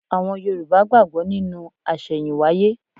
Àwọn Yorùbá gbàgbọ́ nínú àṣẹ̀yìnwáyé.